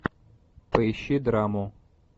поищи драму